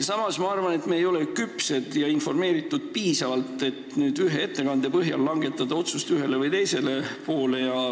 Samas ma arvan, et me ei ole piisavalt informeeritud ja küpsed, et ühe ettekande põhjal langetada otsus ühele või teisele poole.